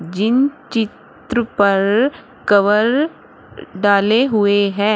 जिन चित्र पर कवर डाले हुए है।